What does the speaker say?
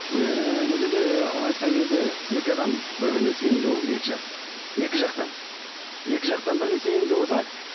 ыыы мына жерде айтқан кезде екі адам бір біріне сенімді болуы керек екі жас екі жақтан иә екі жақтан бірдей сенімді болса